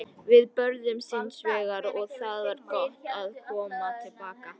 Við börðumst hins vegar og það var gott að koma til baka.